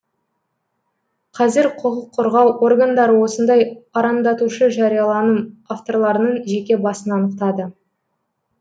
қазір құқық қорғау органдары осындай арандатушы жарияланым авторларының жеке басын анықтады